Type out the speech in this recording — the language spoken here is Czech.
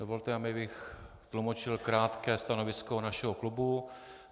Dovolte mi, abych tlumočil krátké stanovisko našeho klubu.